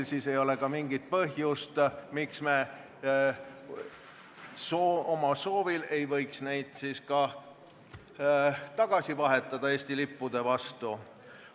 Ja nii ei ole ka mingit põhjust, miks me omal soovil ei võiks neid siis ka tagasi vahetada Eesti lippude vastu.